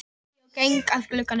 spyr ég og geng að glugganum.